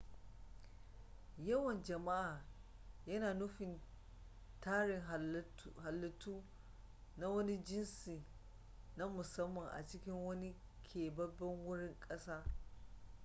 yawan jama'a yana nufi tarin halittu na wani jinsi na musamman a cikin wani keɓaɓɓen wurin ƙasa